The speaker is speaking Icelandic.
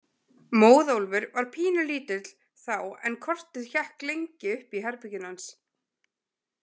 Móðólfur var pínulítill þá en kortið hékk lengi uppi í herberginu hans.